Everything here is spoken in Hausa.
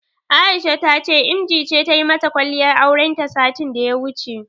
Aisha ta ce Emjee ce tayi mata kwalliyar aurenta satin daya wuce.